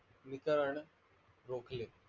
वितरण रोकले.